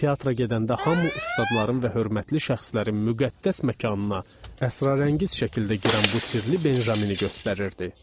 Teatra gedəndə hamı ustadların və hörmətli şəxslərin müqəddəs məkanına əsrarəngiz şəkildə girən bu sirrli Benjamini göstərirdi.